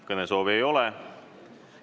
Kõnesoove ei ole.